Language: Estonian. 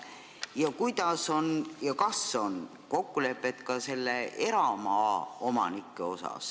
Ja kas on ka tehtud kokkulepe nende eramaaomanikega?